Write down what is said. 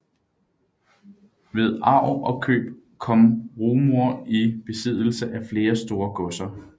Ved arv og køb kom Rumohr i besiddelse af flere store godser